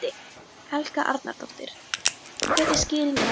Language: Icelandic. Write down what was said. Helga Arnardóttir: Hver er skýringin á því?